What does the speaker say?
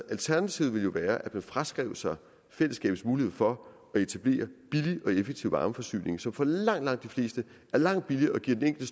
alternativet ville jo være at man fraskrev sig fællesskabets mulighed for at etablere billig og effektiv varmeforsyning som for langt langt de fleste er langt billigere og giver den